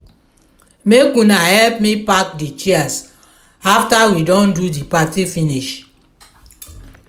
make una help me pack di chairs after we don do di party finish.